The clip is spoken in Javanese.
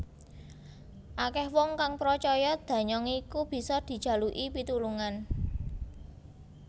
Akeh wong kang pracaya danyang iku bisa dijaluki pitulungan